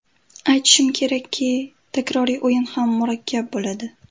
Aytishim kerakki, takroriy o‘yin ham murakkab bo‘ladi.